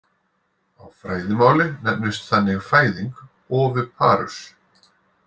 Á fræðimáli nefnist þannig fæðing oviparous.